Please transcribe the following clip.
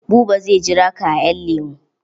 Buba zai jira ka a ƴan lemu.